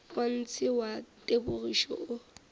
wa ntshe wa tebogišo o